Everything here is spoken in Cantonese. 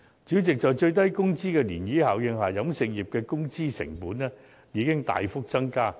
主席，在最低工資的漣漪效應下，飲食業的工資成本已大幅增加。